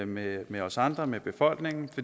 med med os andre med befolkningen